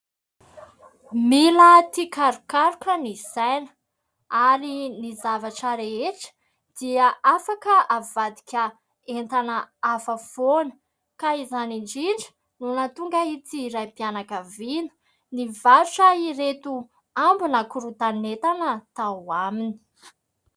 Mila tia karokaroka ny saina. Ary ny zavatra rehetra dia afaka avadika entana hafa foana. Ka izany indrindra no nahatonga ity raim-pianakaviana nivarotra ireto ambon'ny korotan'entana tao aminy.